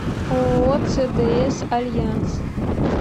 ооо цдс альянс